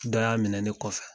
Dɔ y'a minɛ ne kɔfɛ.